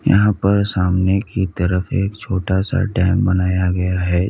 यहां पर सामने की तरफ एक छोटा सा डैम बनाया गया है।